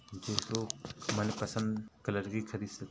जिसरो मनपसंद कलर की खरीद सकते --